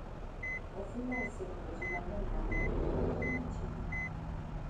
Ofula osemiyo ji mang'eny ma noringo oweyo miechgi.